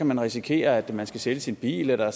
man risikere at man skal sælge sin bil eller